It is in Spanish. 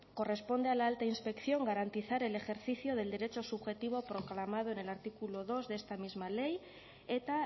corresponde a la alta inspección garantizar el ejercicio del derecho subjetivo proclamado en el artículo dos de esta misma ley eta